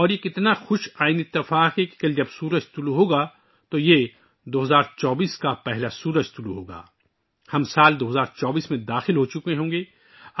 اور یہ کتنا خوشگوار اتفاق ہے کہ کل کا طلوع آفتاب 2024 کا پہلا طلوع آفتاب ہوگا ہم سال 2024 میں داخل ہوچکے ہوں گے